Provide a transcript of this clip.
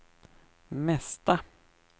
mesta